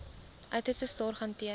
uiterste sorg hanteer